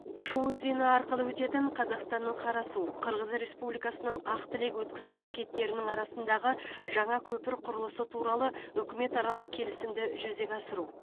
шу өзені арқылы өтетін қазақстанның қарасу қырғыз республикасының ақ тілек өткізу бекеттерінің арасындағы жаңа көпір құрылысы туралы үкіметаралық келісімді жүзеге асыру